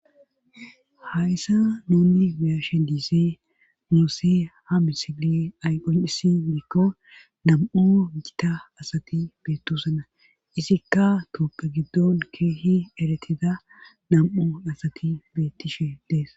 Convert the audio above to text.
ha issa nunni biyashe diisee muuse ha misile ayqon7isi mikko nam7u gita asati beettusana isikka touppe giddon keehi eretida nam7u asati beettishe dees